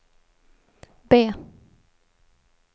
B